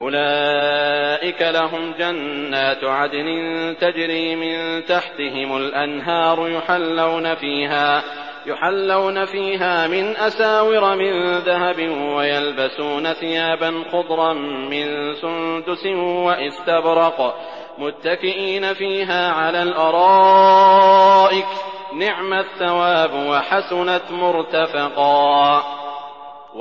أُولَٰئِكَ لَهُمْ جَنَّاتُ عَدْنٍ تَجْرِي مِن تَحْتِهِمُ الْأَنْهَارُ يُحَلَّوْنَ فِيهَا مِنْ أَسَاوِرَ مِن ذَهَبٍ وَيَلْبَسُونَ ثِيَابًا خُضْرًا مِّن سُندُسٍ وَإِسْتَبْرَقٍ مُّتَّكِئِينَ فِيهَا عَلَى الْأَرَائِكِ ۚ نِعْمَ الثَّوَابُ وَحَسُنَتْ مُرْتَفَقًا